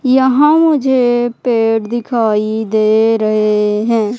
यहां मुझे पेड़ दिखाई दे रहे हैं।